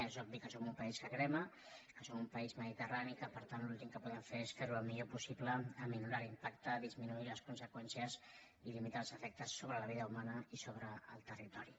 és obvi que som un pa·ís que crema que som un país mediterrani i que per tant l’últim que podem fer és fer·ho el millor possible minorar l’impacte disminuir les conseqüències i limi·tar els efectes sobre la vida humana i sobre el territori